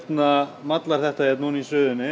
mallar þetta hér ofan í suðunni